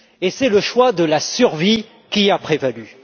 C'est le choix de la survie qui a prévalu.